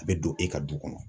A bɛ don e ka du kɔnɔ.